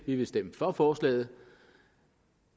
vi vil stemme for forslaget